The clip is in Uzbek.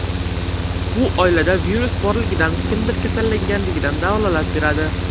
Bu oilada virus borligidan, kimdir kasallanganidan dalolat beradi.